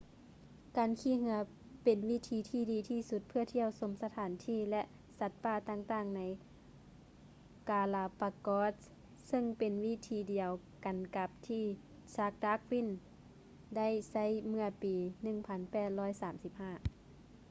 ການຂີ່ເຮືອເປັນວິທີທີ່ດີທີ່ສຸດເພື່ອທ່ຽວຊົມສະຖານທີ່ ແລະ ສັດປ່າຕ່າງໆໃນ ກາລາປາໂກສ໌ galapagos ຊຶ່ງເປັນວິທີດຽວກັນກັບທີ່ ຊາກສ໌ ດາກວິນ charles darwin ໄດ້ໃຊ້ເມື່ອປີ 1835